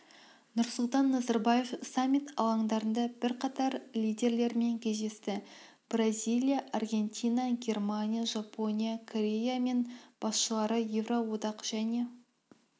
нұрсұлтан назарбаев саммит алаңдарында бірқатар лидерлермен кездесті бразилия аргентина германия жапония корея мен басшылары ерооадақ және